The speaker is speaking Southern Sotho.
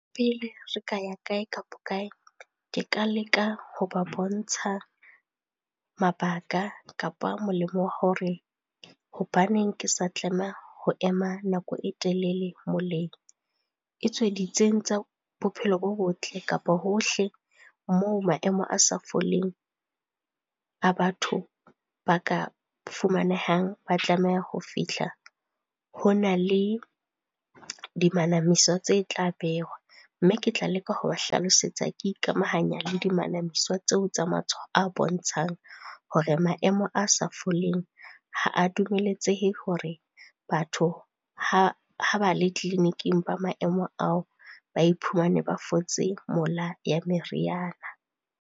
Pele re ka ya kae kapa kae, ke ka leka ho ba bontsha mabaka kapa molemo wa hore hobaneng ke sa tlameha ho ema nako e telele moleng. Etswe tsa bophelo bo botle kapa hohle moo maemo a sa foleng a batho ba ka fumanehang ba tlameha ho fihla, hona le di manamiso tse tla behwa. Mme ke tla leka ho ba hlalosetsa ke ikamahanya le di manamiswa tseo tsa matshwao a bontshang, hore maemo a sa foleng ha a dumeletsehe hore batho ha ba le tleliniking ba maemo ao ba iphumane ba fotse mola ya meriana.